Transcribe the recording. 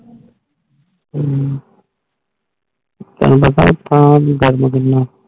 ਹਮ